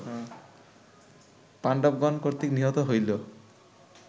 পাণ্ডবগণ কর্তৃক নিহত হইল